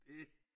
Det